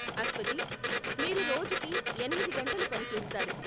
అస్వతి, మీరు రోజుకి ఎనిమిది గంటలు పని చేస్తారు.